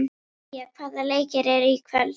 Día, hvaða leikir eru í kvöld?